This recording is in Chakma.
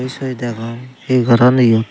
he sobi degong he goron siyot.